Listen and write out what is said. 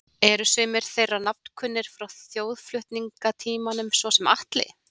Eru sumir þeirra nafnkunnir frá þjóðflutningatímanum, svo sem Atli